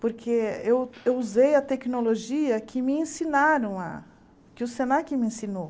Porque eu eu usei a tecnologia que me ensinaram lá, que o Senac me ensinou.